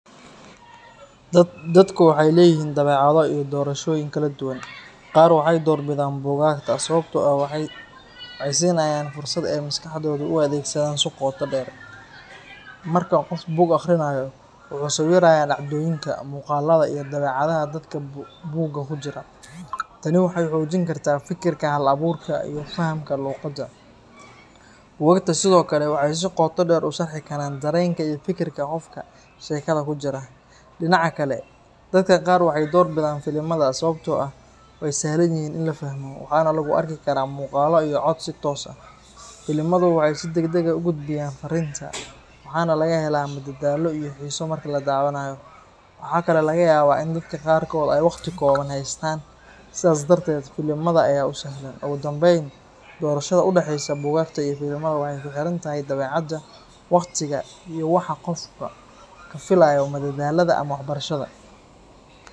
Dadku waxay leeyihiin dabeecado iyo doorashooyin kala duwan. Qaar waxay doorbidaan buugaagta sababtoo ah waxay siinayaan fursad ay maskaxdooda u adeegsadaan si qoto dheer. Marka qof buug akhrinayo, wuxuu sawirayaa dhacdooyinka, muuqaalada, iyo dabeecadaha dadka buugga ku jira. Tani waxay xoojin kartaa fikirka hal-abuurka ah iyo fahamka luqadda. Buugaagta sidoo kale waxay si qoto dheer u sharxi karaan dareenka iyo fikirka qofka sheekada ku jira. Dhinaca kale, dadka qaar waxay doorbidaan filimada sababtoo ah waa sahlan yihiin in la fahmo, waxaana lagu arki karaa muuqaallo iyo cod si toos ah. Filimadu waxay si degdeg ah u gudbiyaan farriinta, waxaana laga helaa madadaalo iyo xiiso marka la daawanayo. Waxaa kaloo laga yaabaa in dadka qaarkood ay waqti kooban haystaan, sidaas darteed filimada ayaa u sahlan. Ugu dambeyn, doorashada u dhaxeysa buugaagta iyo filimada waxay ku xiran tahay dabeecadda, waqtiga, iyo waxa qofku ka filayo madadaalada ama waxbarashada.